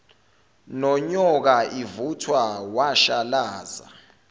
nonyoka ivuthwa washalaza